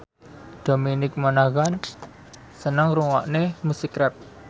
Dominic Monaghan seneng ngrungokne musik rap